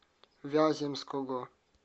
вяземского